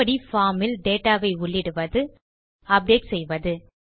form இல் data வை உள்ளிடுவது updateசெய்வது